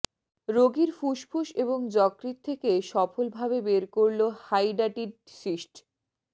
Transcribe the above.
রোগীর ফুসফুস এবং যকৃৎ থেকে সফল ভাবে বের করলো হাইডাটিড সিস্ট